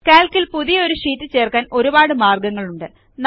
Calc ൽ പുതിയ ഒരു ഷീറ്റ് ചേർക്കാൻ ഒരുപാട് മാർഗ്ഗങ്ങളുണ്ട്